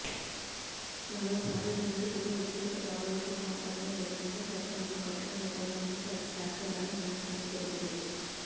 మరోసారి నిందితులు వ్యక్తిగత దాడులకు పాల్పడని విధంగా చట్టంలో కఠిన నిబంధనలను చేర్చాలని న్యాయస్థానం తెలిపింది